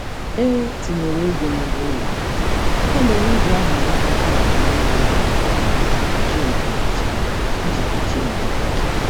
E tinyere ego n'ụgwọ ụlọ m, ya mere m jị ahazi mkpata nke mmefu ego m kwa ọnwa iji kpuchie ndimiiche. iji kpuchie ndimiiche.